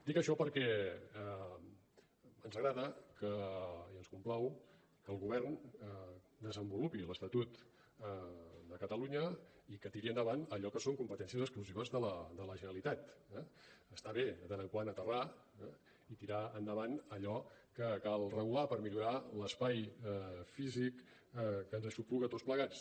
dic això perquè ens agrada i ens complau que el govern desenvolupi l’estatut de catalunya i que tiri endavant allò que són competències exclusives de la generalitat eh està bé de tant en tant aterrar i tirar endavant allò que cal regular per millorar l’espai físic que ens aixopluga a tots plegats